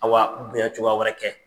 Awa bonyacogoya wɛrɛ kɛ.